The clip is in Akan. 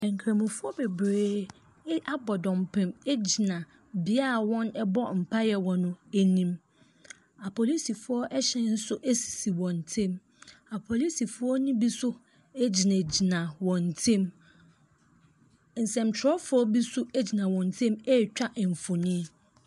Nkramofo bebree abɔ dɔmpem agyina bia a wɔbɔ mpae no anim. Apolisifoɔ wɔn hyɛn nso sisi wɔn ntem. Apolisifoɔ no bi nso gyina gyina wɔn ntem. Nsɛnkyerɛwfo bi nso agyina wɔn ntem etwa mfonyini.